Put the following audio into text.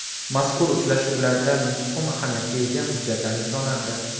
Mazkur uchrashuvlarda muhim ahamiyatga ega hujjatlar imzolandi.